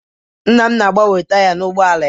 Nna m na-agbanwe taya ụgbọala ya.